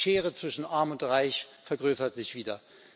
Die Schere zwischen Arm und Reich vergrößert sich wieder.